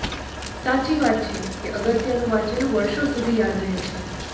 સાચી વાત છે કે અગત્યનું વાંચેલું વર્ષો સુધી યાદ રહે છે